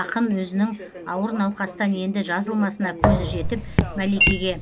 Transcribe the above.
ақын өзінің ауыр науқастан енді жазылмасына көзі жетіп мәликеге